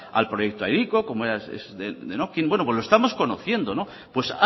al proyecto hiriko como era denokinn bueno pues lo estamos conociendo pues